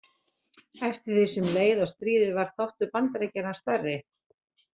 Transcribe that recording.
Eftir því sem leið á stríðið varð þáttur Bandaríkjanna stærri.